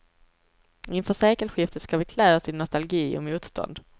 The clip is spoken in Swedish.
Inför sekelskiftet ska vi klä oss i nostalgi och motstånd.